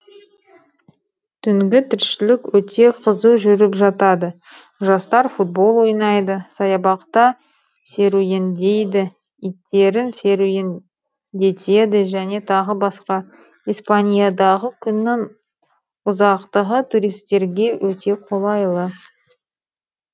түнгі тіршілік өте қызу жүріп жатады жастар футбол ойнайды саябақта серуендейді иттерін серуендетеді және тағы басқа испаниядағы күннің ұзақтығы туристерге өте қолайлы